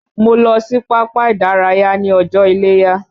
Mo lọ sí pápá ìdárayá ní ọjọ́ iléya